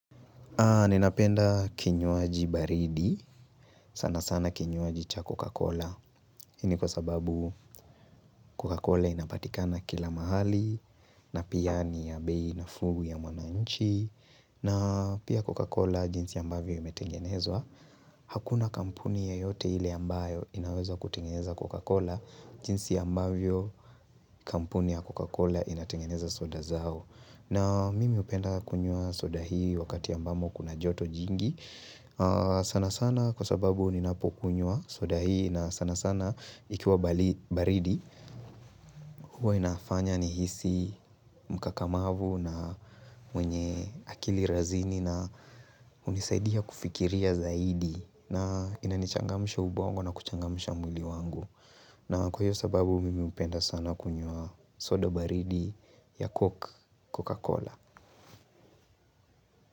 Ninapenda kinywaji baridi, sana sana kinywaji cha Coca-Cola, hii ni kwa sababu Coca-Cola inapatikana kila mahali, na pia ni ya bei nafuu ya mwananchi, na pia Coca-Cola jinsi ambavyo imetengenezwa, hakuna kampuni yoyote ile ambayo inaweza kutengeneza Coca-Cola, jinsi ambavyo kampuni ya Coca-Cola inatengeneza soda zao. Na mimi hupenda kunywa soda hii wakati ambamo kuna joto jingi. Sana sana kwa sababu ninapokunywa soda hii na sana sana ikiwa baridi. Huwa inafanya nihisi mkakamavu na mwenye akili razini na hunisaidia kufikiria zaidi. Na inanichangamsha ubongo na kuchangamsha mwili wangu. Na kwa hiyo sababu mimi hupenda sana kunywa soda baridi ya Coca-Cola.